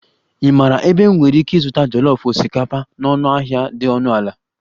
Ị maara ebe m nwere ike ịzụta jollof osikapa na ọnụahịa dị ọnụ ala?